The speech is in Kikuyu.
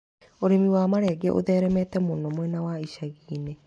Ũrĩmi wa marenge ũtheremete mũno mwena wa ishagi-inĩ.